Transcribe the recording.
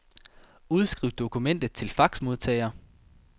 Udskriv dokumentet til faxmodtager.